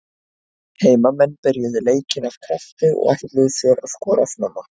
Heimamenn byrjuðu leikinn af krafti og ætluðu sér að skora snemma.